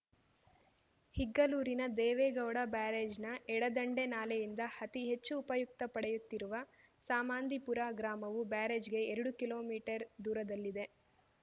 ಇಗ್ಗಲೂರಿನ ದೇವೇಗೌಡ ಬ್ಯಾರೇಜ್‌ನ ಎಡದಂಡೆ ನಾಲೆಯಿಂದ ಅತಿ ಹೆಚ್ಚು ಉಪಯುಕ್ತ ಪಡೆಯುತ್ತಿರುವ ಸಾಮಾಂದಿಪುರ ಗ್ರಾಮವು ಬ್ಯಾರೇಜ್‌ಗೆ ಎರಡು ಕಿಲೋಮೀಟರ್ ದೂರದಲ್ಲಿದೆ